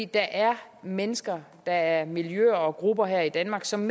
der er mennesker og der er miljøer og grupper her i danmark som